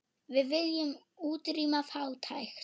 Við viljum útrýma fátækt.